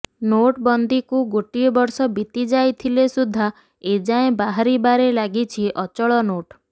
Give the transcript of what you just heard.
note ବନ୍ଦୀକୁ ଗୋଟିଏ ବର୍ଷ ବିତିଯାଇଥିଲେ ସୁଦ୍ଧା ଏଯାଏଁ ବାହାରିବାରେ ଲାଗିଛି ଅଚଳ ନୋଟ୍